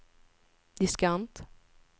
diskant